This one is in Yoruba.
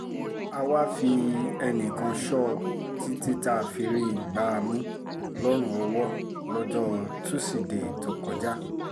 a wáá fi ẹnìkan sọ ọ́ títí tá a fi rí i gbá mú lọ́rùn ọwọ́ lọ́jọ́ tusidee tó kọjá